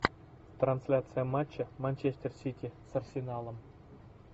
трансляция матча манчестер сити с арсеналом